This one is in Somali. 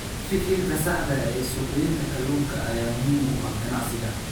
Fikirka saxda ah ee suuqgeynta kalluunka ayaa muhiim u ah ganacsiga.